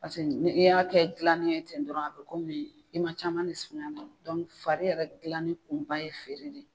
Paseke ni' y'a kɛ gilanni ye ten dɔrɔn a be kɔmi i ma caman de suma fari yɛrɛ gilanni kun ba ye feere de ye.